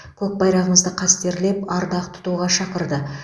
көк байрағымызды қастерлеп ардақ тұтуға шақырды